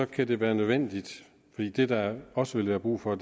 kan det være nødvendigt fordi der der også vil være brug for